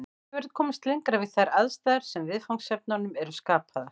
Ekki verður komist lengra við þær aðstæður sem viðfangsefnunum eru skapaðar.